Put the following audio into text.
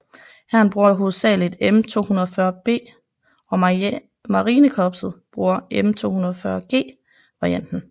Hæren bruger hovedsagelig M240B og marinekorpset bruger M240G varianten